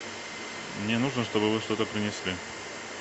мне нужно чтобы вы что то принесли